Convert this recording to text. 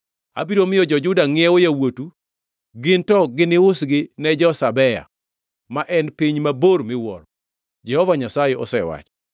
Abiro miyo jo-Juda ngʼiewo yawuotu, gin to giniusgi ne jo-Sabea, ma en piny mabor miwuoro,” Jehova Nyasaye osewacho.